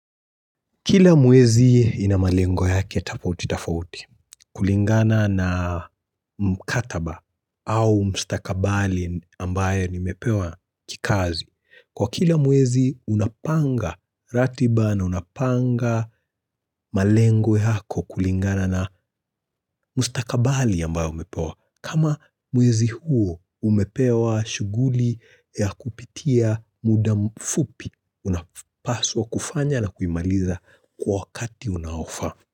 Kila mwezi ina malengo ya kia tofauti tafauti kulingana na mkataba au mstakabali ambaye nimepewa kikazi. Kwa kila mwezi unapanga ratiba na unapanga malengo yako kulingana na mustakabathi ambao umepewa. Kama mwezi huo umepewa shughuli ya kupitia muda fupi unapaswa kufanya na kuimaliza kwa wakati unaofaa.